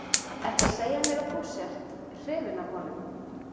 Ertu að segja mér að þú sért. hrifin af honum?